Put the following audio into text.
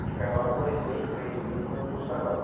E ficava um, dois meses, três meses indo no salão.